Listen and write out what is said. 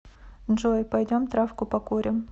джой пойдем травку покурим